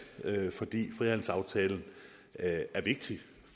fordi frihandelsaftalen er vigtig